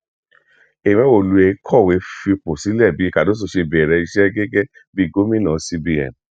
emewolue kọwé fipò sílẹ bí cárdóso ṣe bẹrẹ iṣẹ gẹgẹ bíi gómìnà cbn